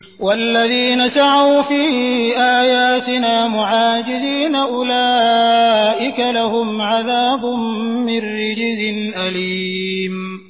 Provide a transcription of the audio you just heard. وَالَّذِينَ سَعَوْا فِي آيَاتِنَا مُعَاجِزِينَ أُولَٰئِكَ لَهُمْ عَذَابٌ مِّن رِّجْزٍ أَلِيمٌ